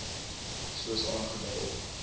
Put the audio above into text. soos aangedui op